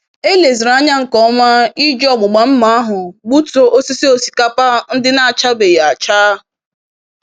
Eleziri anya nke ọma iji ọgbụgba mma ahụ gbutuo osisi osikapa ndị n'achabeghị acha.